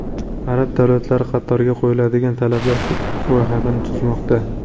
Arab davlatlari Qatarga qo‘yiladigan talablar ro‘yxatini tuzmoqda.